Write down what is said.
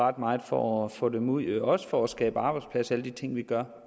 ret meget for at få dem ud også for at skabe arbejdspladser med alle de ting vi gør